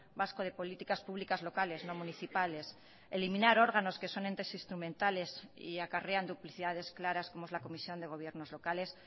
vasco de políticas públicas locales no municipales eliminar órganos que son entes instrumentales y acarrean duplicidades claras como es la comisión de gobiernos locales